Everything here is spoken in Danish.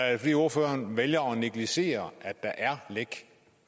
er det fordi ordføreren vælger at negligere at der er lækker